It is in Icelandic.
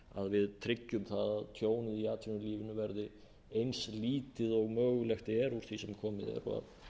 við tryggjum það að tjónið í atvinnulífinu verði eins lítið og mögulegt er úr því sem komið er og